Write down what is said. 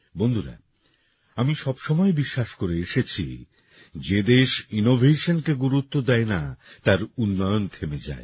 বন্ধুরা আমি সবসময় বিশ্বাস করে এসেছি যে দেশ Innovationকে গুরুত্ব দেয় না তার উন্নয়ন থেমে যায়